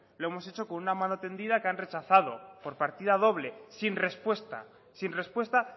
lo hemos hecho con una mano tendida que han rechazado por partida doble sin respuesta sin respuesta